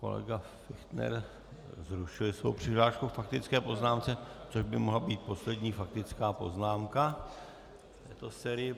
Kolega Fichtner zrušil svoji přihlášku k faktické poznámce, což by mohla být poslední faktická poznámka v této sérii.